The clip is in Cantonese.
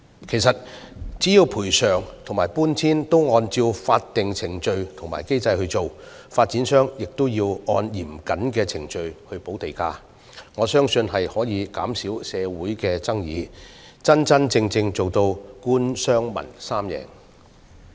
其實只要賠償與搬遷安排均按照法定程序和機制行事，而發展商亦按嚴謹程序補地價，我相信可以減少社會爭議，真真正正達致官、商、民三贏。